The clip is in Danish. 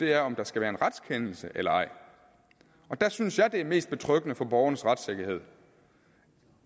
er om der skal være en retskendelse eller ej og der synes jeg at det er mest betryggende for borgernes retssikkerhed